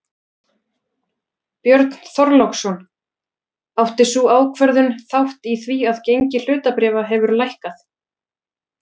Björn Þorláksson: Átti sú ákvörðun þátt í því að gengi hlutabréfa hefur lækkað?